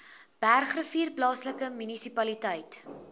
bergrivier plaaslike munisipaliteit